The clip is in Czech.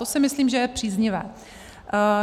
To si myslím, že je příznivé.